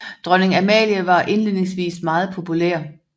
Dronning Amalie var indledningsvis meget populær